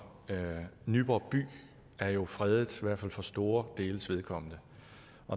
nyborg by er jo fredet i hvert fald for store deles vedkommende